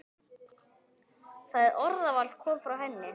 Það orðaval kom frá henni.